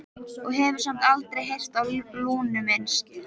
Og hefur samt aldrei heyrt á Lúnu minnst?